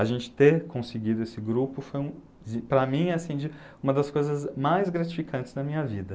A gente ter conseguido esse grupo foi, para mim, assim de, uma das coisas mais gratificantes da minha vida.